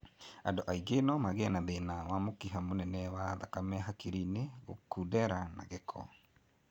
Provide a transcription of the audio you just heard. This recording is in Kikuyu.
Andu angi nomagie a thĩna wa mũkiha mũnene wa thakame hakiri-inĩ gũkundera na gĩko